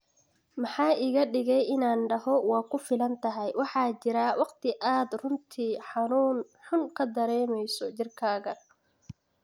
Maxaa iga dhigay inaan dhaho waa ku filan tahay ""Waxaa jira waqti aad runtii xanuun xun ka dareemeyso jirkaaga."